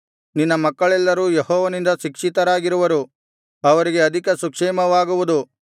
ನಿನ್ನ ಮಕ್ಕಳೆಲ್ಲರೂ ಯೆಹೋವನಿಂದ ಶಿಕ್ಷಿತರಾಗಿರುವರು ಅವರಿಗೆ ಅಧಿಕ ಸುಕ್ಷೇಮವಾಗುವುದು